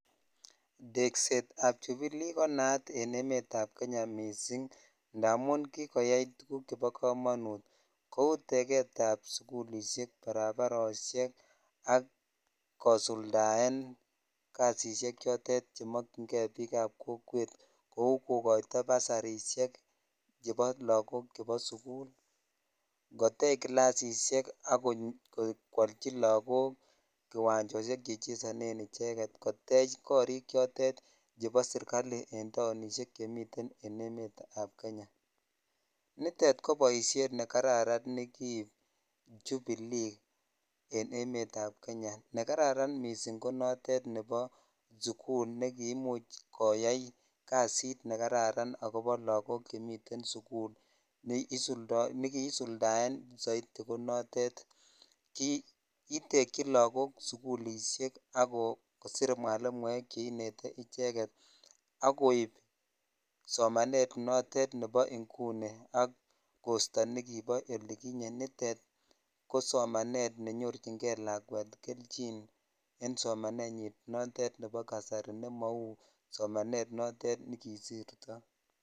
Teksetab jubilee konaat en emetab Kenya mising' ndamun kikoyai tukuk chebokomonut kou teketab sukulishek barabaroshek ak kosuldaen kasisiek chotet chemokying'e biikab kokwet kouu kokoito basarishek chebo lokok chebo sukul, kotech kilasisiek ak kwoolchi lokok kiwanjoshek chechesonen icheket, kotech korik chotet chebo serikali en taonishek chemiten en emetab Kenya, nitet ko boishet nekararan nekiib jubilee en emetab Kenya, nekararan mising' ko notet nebo sukul nekiimuch koyai kasit nekararan akobo lokok chemmiten sukul nekisuldaen soiti konotet kitekyi lokok sukulishek ak kosir mwalimuek cheinete icheket ak koib somanet notet nebo ing'uni ak kosto nekibo olikinye, nitet kosomanet nenyorching'e lakwet kelchin en somanenyin notet nebo kasari nemou somanet notet nekisirtoi.